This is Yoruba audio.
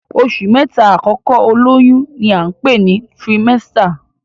Oṣù mẹ́ta àkọ́kọ́ olóyún ní à ń pè ní tirimẹ́sítà